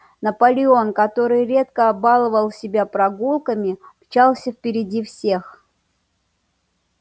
наполеон который редко баловал себя прогулками мчался впереди всех